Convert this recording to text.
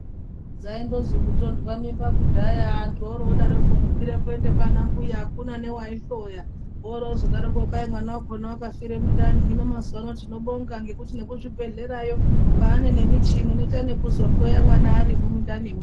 Dzaingozwi kutonhwa mimba kudaya anthu odaroko kukwire kuende kwana mbuya akuna newaihloya voroozodaroko kwai mwana wakhona wakafire mundani hino mazuwano tinobonga ngekuti nekuzvibhedhlerayo kwane michini inoita nekuzokuhloya mwana arimwo mundanimwo.